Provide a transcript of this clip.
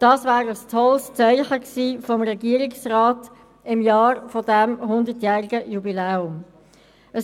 Dies wäre ein tolles Zeichen des Regierungsrats im Jahr dieses hundertjährigen Jubiläums gewesen.